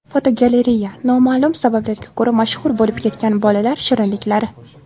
Fotogalereya: Noma’lum sabablarga ko‘ra mashhur bo‘lib ketgan bolalar shirinliklari.